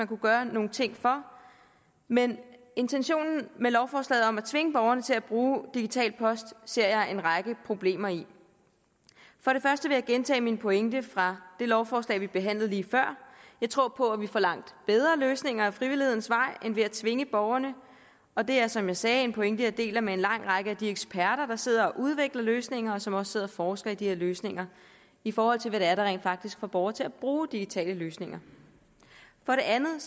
kunne gøre nogle ting for men intentionen med lovforslaget om at tvinge borgere til at bruge digital post ser jeg en række problemer i for det første vil jeg gentage min pointe fra det lovforslag vi behandlede lige før jeg tror at vi får langt bedre løsninger ad frivillighedens vej end ved at tvinge borgerne og det er som jeg sagde en pointe jeg deler med en lang række af de eksperter der sidder og udvikler løsninger og som også sidder og forsker i de her løsninger i forhold til hvad det er der rent faktisk får borgere til at bruge digitale løsninger for det andet